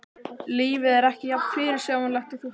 Lífið er ekki jafn fyrirsjáanlegt og þú heldur.